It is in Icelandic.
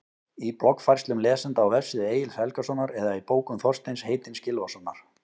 Í bloggfærslum lesenda á vefsíðu Egils Helgasonar eða í bókum Þorsteins heitins Gylfasonar?